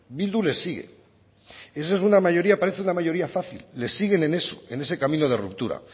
bildu les sigue y esa es una mayoría parece una mayoría fácil les siguen en eso en ese camino de ruptura